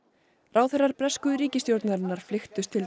ráðherrar bresku ríkisstjórnarinnar flykktust til